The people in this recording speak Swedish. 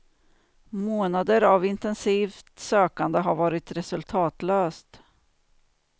Månader av intensivt sökande har varit resultatlöst.